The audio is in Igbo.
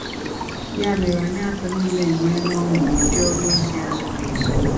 Ya mere, anyị atọ niile enweela ọṅụ nụdị ọrụ ozi a zuru oge.